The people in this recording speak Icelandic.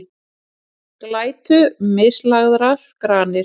Glætu mislagðar granir